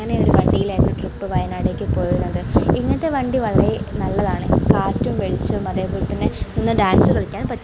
ഇങ്ങനെ ഒരു വണ്ടിയിലായിരുന്നു വയനാട്ടിലേക്ക് ട്രിപ്പ് പോയിരുന്നത് ഇങ്ങനത്തെ വണ്ടി വളരെ നല്ലതാണ് കാറ്റും വെളിച്ചവും അതേപോലെ തന്നെ നിന്ന് ഡാൻസ് കളിക്കാനും പറ്റും.